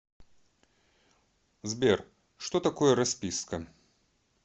сбер что такое расписка